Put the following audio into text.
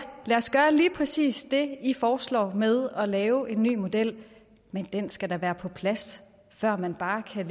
lad os gøre lige præcis det i foreslår med at lave en ny model men den skal da være på plads før man bare kan